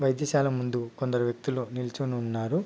వైద్యశాల ముందు కొందరు వ్యక్తులు నిల్చొనున్నారు.